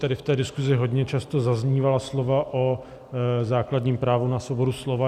Tady v té diskusi hodně často zaznívají slova o základním právu na svobodu slova.